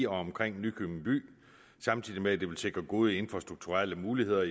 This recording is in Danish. omkring nykøbing by samtidig med at det vil sikre gode infrastrukturelle muligheder